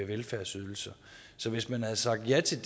velfærdsydelser så hvis man havde sagt ja til